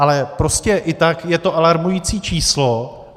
Ale prostě i tak je to alarmující číslo.